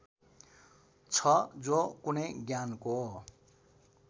छ जो कुनै ज्ञानको